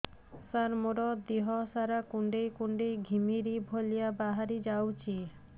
ସାର ମୋର ଦିହ ସାରା କୁଣ୍ଡେଇ କୁଣ୍ଡେଇ ଘିମିରି ଭଳିଆ ବାହାରି ଯାଉଛି